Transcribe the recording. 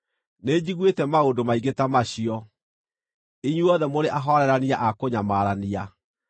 “Nĩnjiguĩte maũndũ maingĩ ta macio; inyuothe mũrĩ ahoorerania a kũnyamarania!